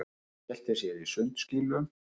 Og skellti sér í sundskýlu.